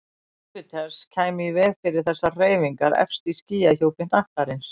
Júpíters kæmi í veg fyrir þessar hreyfingar efst í skýjahjúpi hnattarins.